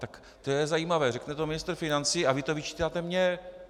Tak to je zajímavé, řekne to ministr financí a vy to vyčítáte mně.